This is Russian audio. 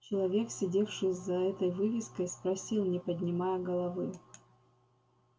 человек сидевший за этой вывеской спросил не поднимая головы